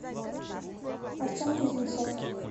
артем кузнецов